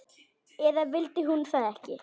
Eða vildi hún það ekki?